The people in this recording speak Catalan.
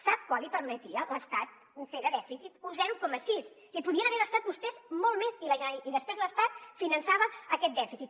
sap quant li permetia l’estat fer de dèficit un zero coma sis s’hi podien haver gastat vostès molt més i després l’estat finançava aquest dèficit